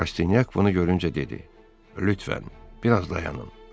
Rastinyak bunu görüncə dedi: Lütfən, biraz dayanın.